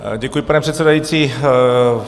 Děkuji, pane předsedající.